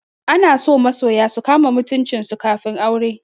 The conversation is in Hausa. Ana so masoya su kama mutuncin su kafin aure.